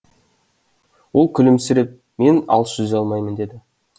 ол күлімсіреп мен алыс жүзе алмаймын деді